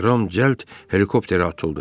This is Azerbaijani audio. Ram cəld helikopterə atıldı.